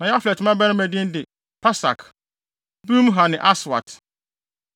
Na Yaflet mmabarima din de: Pasak, Bimhal ne Aswat.